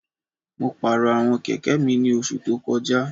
Mo pàrọ̀ ẹ̀wọ̀n kẹ̀kẹ́ mi ní oṣù tó kọjá